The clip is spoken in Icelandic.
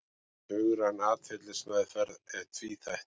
Hugræn atferlismeðferð er tvíþætt.